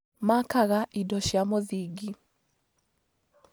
Makaga indo cia mũthingi